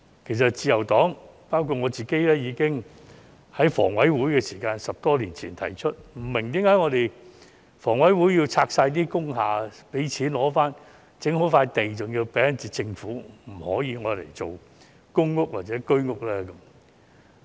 其實，自由黨包括我本人，已在10多年前向房委會提出，為何工廈清拆後騰出的土地要歸還政府，而不可用於興建公屋或居屋。